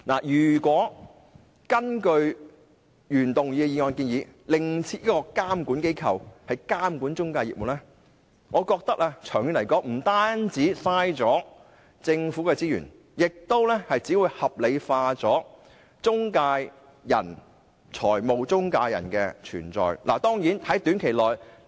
如果根據原議案的建議，另設監管機構監管中介業務，我覺得長遠來說，不單浪費了政府的資源，亦只會把中介公司的存在合理化。